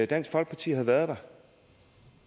dansk folkeparti havde været der